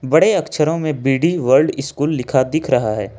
बड़े अक्षरों में बी डी वर्ल्ड स्कूल लिखा दिख रहा है।